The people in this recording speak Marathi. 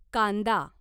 कांदा